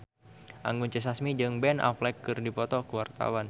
Anggun C. Sasmi jeung Ben Affleck keur dipoto ku wartawan